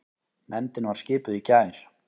Nefndin var skipuð í gær.